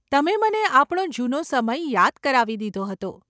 તમે મને આપણો જુનો સમય યાદ કરાવી દીધો હતો.